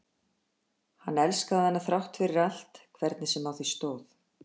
hann elskaði hana þrátt fyrir allt hvernig sem á því stóð.